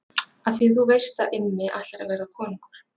Af því þú veist Immi ætlar að verða konungur.